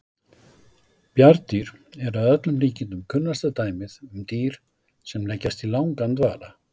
Bjarndýr eru að öllum líkindum kunnasta dæmið um dýr sem leggjast í langan dvala.